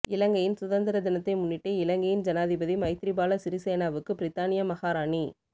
இலங்கையின் சுதந்திர தினத்தை முன்னிட்டு இலங்கையின் ஜனாதிபதி மைத்திரிபால சிறிசேனவுக்கு பிரித்தானிய மகாராணி